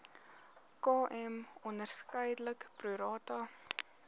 km onderskeidelik prorata